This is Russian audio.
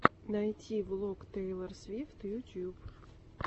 найти влог тейлор свифт ютуб